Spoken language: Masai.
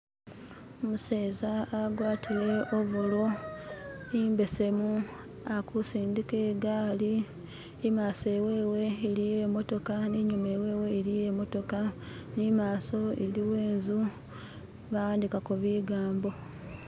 Umuseza agwatile obolo embesemu akusindika egali emaso ewewe eliyo emotoka ninyuma ewewe eliyo emotoka nimaso eliwo enzu bawandikako bigambo